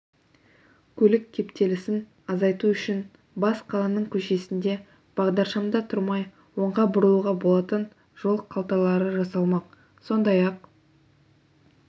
көлік кептелісін азайту үшін бас қаланың көшесінде бағдаршамда тұрмай оңға бұрылуға болатын жол қалталары жасалмақ сондай-ақ